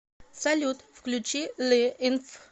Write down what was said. салют включи ли инф